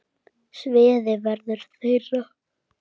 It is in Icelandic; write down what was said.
Sviðið verður þeirra.